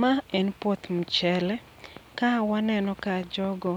Ma en puoth mchele, ka waneno ka jogo